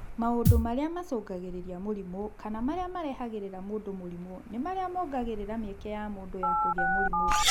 Mũndũ marĩa macũngagĩrĩria mũrimũ kana marĩa marehagĩrĩria mũndũ mũrimũ nĩ marĩa mongagĩrĩra mĩeke ya mũndũ ya kũgĩa mũrimũ